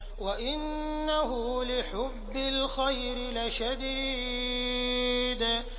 وَإِنَّهُ لِحُبِّ الْخَيْرِ لَشَدِيدٌ